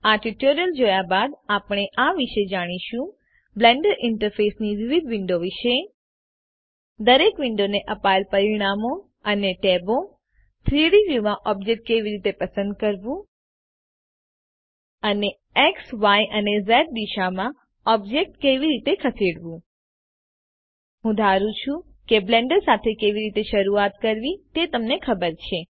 આ ટ્યુટોરીયલ જોયા બાદ આપણે આ વિશે જાણીશું બ્લેન્ડર ઈન્ટરફેસની વિવિધ વિન્ડો વિશે દરેક વિન્ડોને અપાયેલ પરિમાણો અને ટેબો 3ડી વ્યુમાં ઑબ્જેક્ટ કેવી રીતે પસંદ કરવું અને એક્સ ય અને ઝ દિશામાં ઓબ્જેક્ટ કેવી રીતે ખસેડવું હું ધારું છું કે બ્લેન્ડર સાથે કેવી રીતે શરુઆત કરવી તે તમને ખબર છે